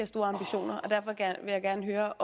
store ambitioner og derfor vil jeg gerne høre